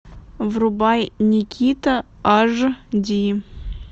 врубай никита аш ди